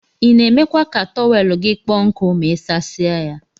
Ina emekwa ka tọwel gi kpọ nku ma isasie ya.